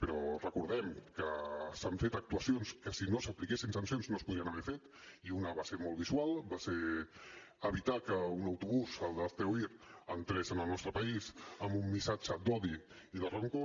però recordem que s’han fet actuacions que si no s’apliquessin sancions no es podrien haver fet i una va ser molt visual va ser evitar que un autobús el d’hazte oír entrés al nostre país amb un missatge d’odi i de rancor